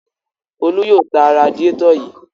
Folú yóò ta radiátọ̀ yìí.